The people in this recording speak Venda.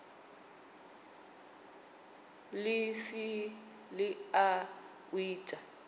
ḽi si ḽa u ita